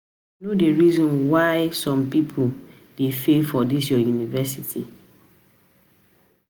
um u know di reason why um people um dey fail for dis your university?